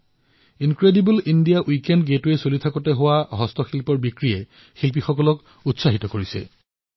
মোক এয়াও কোৱা হৈছে যে ইনক্ৰেডিবল ইণ্ডিয়া উইকেণ্ড গেটৱে ৰ সময়ত হস্তশিল্পৰ যি মুঠ বিক্ৰী হৈছে তাৰ দ্বাৰা কলাকাৰসকলক অধিক উৎসাহিত হৈ পৰিছে